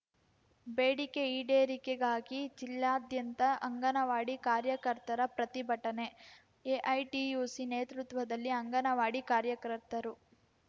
ಬೇಡಿಕೆ ಈಡೇರಿಕೆಗಾಗಿ ಜಿಲ್ಲಾದ್ಯಂತ ಅಂಗನವಾಡಿ ಕಾರ್ಯಕರ್ತರ ಪ್ರತಿಭಟನೆ ಎಐಟಿಯುಸಿ ನೇತೃತ್ವದಲ್ಲಿ ಅಂಗನವಾಡಿ ಕಾರ್ಯಕರ್ತರು